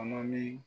Kɔnɔ ni